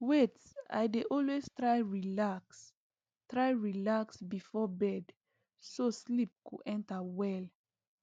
wait i dey always try relax try relax before bed so sleep go enter well